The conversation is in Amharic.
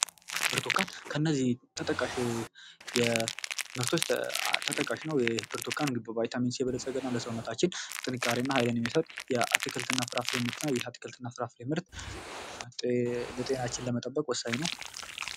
ብርቱካን ከእነዚህ ተጠቃሽ የምርቶች ተጠቃሽ ነው። ይህ ብርቱካን በቫይታሚን የበለፀገ ነው። ለሰውነታችን ጥንካሬ እና ህይል የሚሰጥ የአትክልትና ፍራፍሬ ምርት ነው። ይህ የአትክልትና ፍራፍሬ ምርት ጤናችንን ለመጠበቅ ወሳኝ ነው።